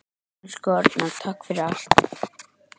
Elsku Arnar, takk fyrir allt.